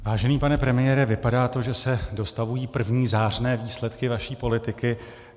Vážený pane premiére, vypadá to, že se dostavují první zářné výsledky vaší politiky.